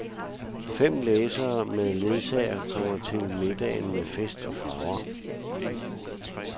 Fem læsere med ledsager kommer med til middagen med fest og farver.